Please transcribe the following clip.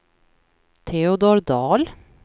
Teodor Dahl